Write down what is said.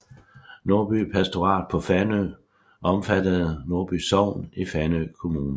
Nordby Pastorat på Fanø omfattede Nordby Sogn i Fanø Kommune